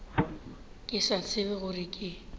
ke sa tsebe gore ke